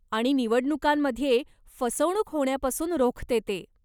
आणि निवडणुकांमध्ये फसवणूक होण्यापासून रोखते ते.